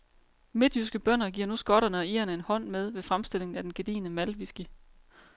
Midtjyske bønder giver nu skotterne og irerne en hånd med ved fremstillingen af den gedigne maltwhisky.